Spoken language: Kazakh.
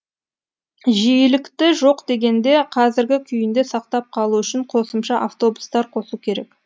жиілікті жоқ дегенде қазіргі күйінде сақтап қалу үшін қосымша автобустар қосу керек